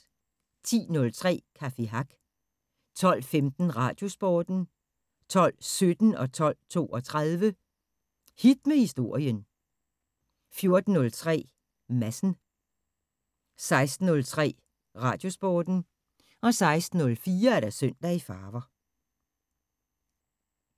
10:03: Café Hack 12:15: Radiosporten 12:17: Hit med Historien 12:32: Hit med Historien 14:03: Madsen 16:03: Radiosporten 16:04: Søndag i farver